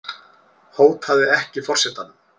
Hótaði ekki forsetanum